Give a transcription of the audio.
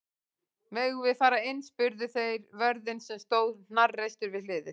Megum við fara inn? spurðu þeir vörðinn sem stóð hnarreistur við hliðið.